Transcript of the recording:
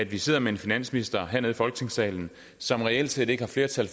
vi sidder med en finansminister hernede i folketingssalen som reelt set ikke har flertal